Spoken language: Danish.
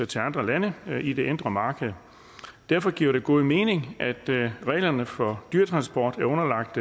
til andre lande i det indre marked derfor giver det god mening at reglerne for dyretransporter er underlagt